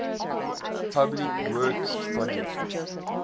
public works projects